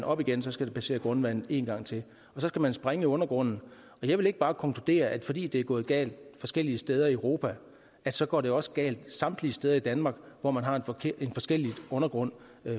op igen skal det passere grundvandet en gang til og så skal man sprænge i undergrunden jeg vil ikke bare konkludere at fordi det er gået galt forskellige steder i europa så går det også galt samtlige steder i danmark hvor man har en forskellig undergrund